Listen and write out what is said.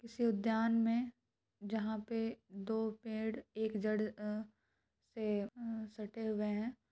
इस उधयान मे जहा पे दो पेड़ और एक जड़ ए ए सटे हुए है ।